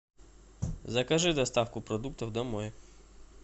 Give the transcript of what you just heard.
закажи доставку продуктов домой